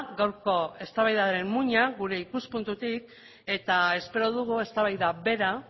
gaurko eztabaidaren muina gure ikuspuntutik eta espero dugu eztabaida bera